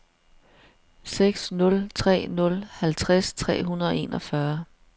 seks nul tre nul halvtreds tre hundrede og enogfyrre